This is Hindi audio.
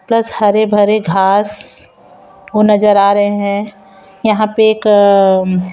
प्लस हरे भरे घास ओ नजर आ रहे हैं यहा पे एक म--